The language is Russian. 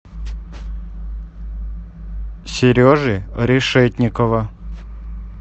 сережи решетникова